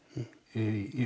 í